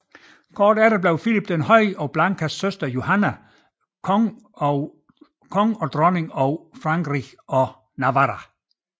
Kort efter blev Filip den Høje og Blankas søster Johanne konge og dronning af Frankrig og Navarra